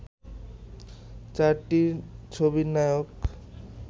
চারটি ছবির নায়ক